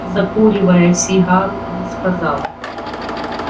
закуривая сигару он сказал